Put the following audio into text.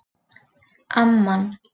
Amman